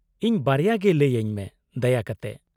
-ᱤᱧ ᱵᱟᱨᱭᱟ ᱜᱮ ᱞᱟᱹᱭ ᱟᱹᱧ ᱢᱮ, ᱫᱟᱭᱟ ᱠᱟᱛᱮ ᱾